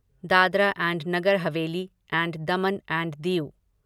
Dadra and Nagar Haveli and Daman and Diu